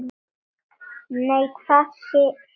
Nei, hvað sé ég?